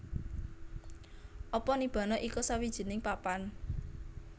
Apa Nibbana iku sawijining papan